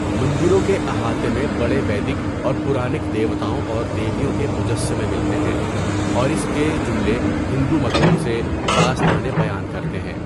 مندروں کے احاطے میں بڑے ویدک اور پرانک دیوتاؤں اور دیویوں کے مجسّمے ملتے ہیں، اور اس کے جملے ہندو متون سے داستانیں بیان کرتے ہیں۔